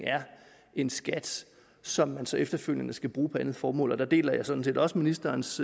en skat som man så efterfølgende skal bruge på et andet formål og der deler jeg sådan set også ministerens